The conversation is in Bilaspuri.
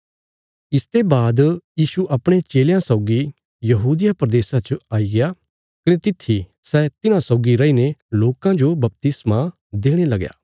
इसते बाद यीशु अपणे चेलयां सौगी यहूदिया प्रदेशा च आए कने तित्थी सै तिन्हां सौगी रैईने लोकां जो बपतिस्मा देणे लगया